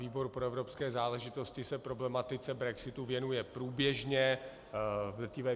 Výbor pro evropské záležitosti se problematice brexitu věnuje průběžně.